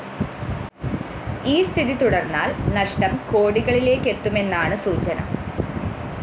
ഈ സ്ഥിതി തുടര്‍ന്നാല്‍ നഷ്ടം കോടികളിലേക്കെത്തുമെന്നാണ്‌ സൂചന